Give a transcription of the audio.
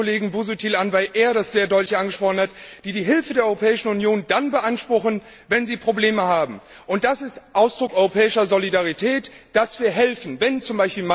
schaue ich den Kollegen Busuttil an, weil er das sehr deutlich angesprochen hat die die Hilfe der Europäischen Union dann beanspruchen, wenn sie Probleme haben, und es ist Ausdruck europäischer Solidarität, dass wir helfen, wenn z.